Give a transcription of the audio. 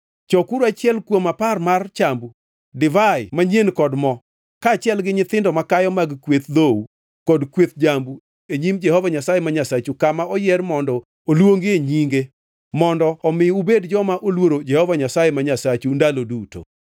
Chokuru achiel kuom apar mar chambu, divai manyien kod mo, kaachiel gi nyithindo makayo mag kweth dhou kod kweth jambu e nyim Jehova Nyasaye ma Nyasachu kama noyier mondo oluongie Nyinge mondo omi ubed joma oluoro Jehova Nyasaye ma Nyasachu ndalo duto.